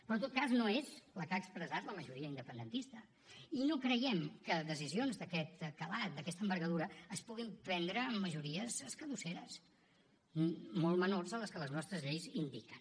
però en tot cas no és la que ha expressat la majoria independentista i no creiem que decisions d’aquest calat d’aquesta envergadura es puguin prendre amb majories escadusseres molt menors que les que les nostres lleis indiquen